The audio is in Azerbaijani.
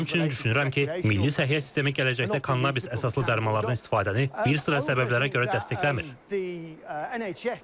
Həmçinin düşünürəm ki, Milli Səhiyyə Sistemi gələcəkdə kannabis əsaslı dərmanlardan istifadəni bir sıra səbəblərə görə dəstəkləmir.